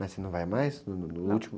Mas você não vai mais?ão.o, no, no último?